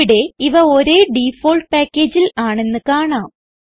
ഇവിടെ ഇവ ഒരേ ഡിഫോൾട്ട് packageൽ ആണെന്ന് കാണാം